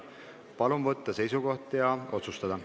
Palun võtta seisukoht ja hääletada!